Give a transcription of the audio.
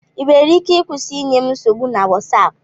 Ị nwere ike ịkwụsị inye m nsogbu na Wosap